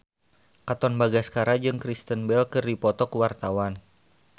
Katon Bagaskara jeung Kristen Bell keur dipoto ku wartawan